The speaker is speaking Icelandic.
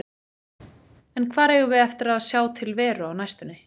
En hvar eigum við eftir að sjá til Veru á næstunni?